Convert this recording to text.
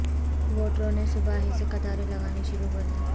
ووٹروں نے صبح ہی سے قطاریں لگانی شروع کردیں